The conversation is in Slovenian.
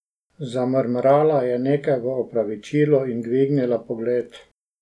Zamrmrala je nekaj v opravičilo in dvignila pogled.